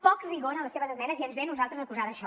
poc rigor en les seves esmenes i ens ve a nosaltres a acusar d’això